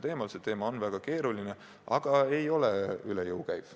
See teema on väga keeruline, aga ei ole üle jõu käiv.